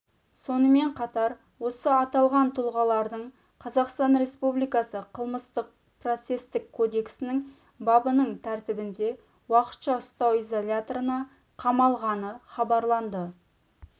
сонымен қатар осы аталған тұлғалардың қазақстан республикасы қылмыстық-процестік кодексінің бабының тәртібінде уақытша ұстау изоляторына қамалғаны хабарланды